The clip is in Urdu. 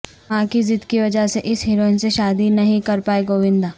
ماں کی ضد کی وجہ سے اس ہیروئن سے شادی نہیں کر پائے گووندا